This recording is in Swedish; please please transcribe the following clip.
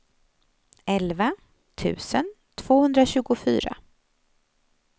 elva tusen tvåhundratjugofyra